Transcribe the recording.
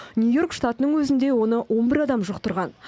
нью йорк штатының өзінде оны он бір адам жұқтырған